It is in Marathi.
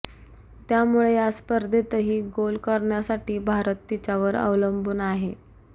त्यामुळे या स्पर्धेतही गोल करण्यासाठी भारत तिच्यावर अवलंबून आहे